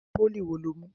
Pólì wo lo mú?